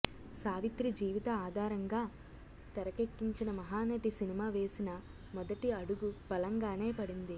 సావిత్రి జీవిత ఆధారంగా తెరకెక్కించిన మహానటి సినిమా వేసిన మొదటి అడుగు బలంగానే పడింది